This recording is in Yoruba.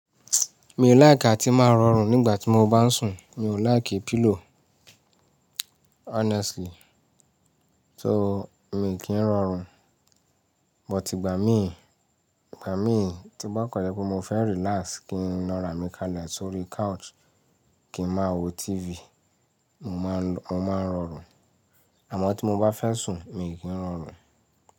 Mi ò láìkì tí máa rọrùn nígbà tí mo bá ń sùn. Mi ò láìkì pillow honestly. So mi kì ń rọrùn, but ìgbà míì, ìgbà míì tí bákanní yẹ kó mo fẹ́ relax kí n lọ rà mí kalẹ̀ sórí couch kí ń má wo TV, mo máa mo máa ń rọrùn. Àmọ́ tí mo bá fẹ́ sùn, mi kì ń rọrùn.